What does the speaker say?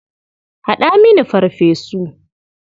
Haɗa mini farfesu.